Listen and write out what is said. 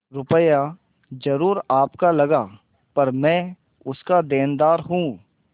रुपया जरुर आपका लगा पर मैं उसका देनदार हूँ